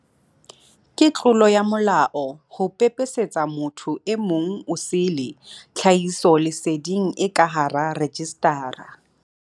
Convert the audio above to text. Ke tlolo ya molao ho pepesetsa motho e mong osele tlhahisoleseding e ka hara rejistara.